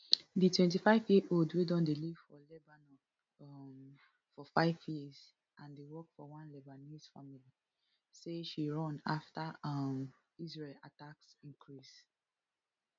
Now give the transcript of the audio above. di twenty-fiveyearold wey don dey live for lebanon um for five years and dey work for one lebanese family say she run afta um israel attacks increase